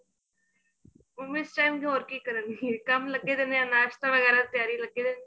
mummy ਇਸ time ਤੇ ਹੋਰ ਕੀ ਕਰਨ ਗੇ ਨਾਸ਼ਤਾ ਵਗੈਰਾ ਤਿਆਰੀ ਲੱਗੇ ਰਹਿੰਦੇ